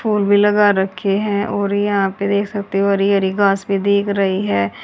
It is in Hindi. फूल भी लगा रखे हैं और यहां पे देख सकते हो हरी हरी घास भी दिख रही है।